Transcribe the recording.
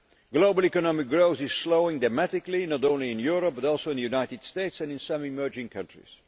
Global economic growth is slowing dramatically, not only in Europe but also in the United States and some emerging countries.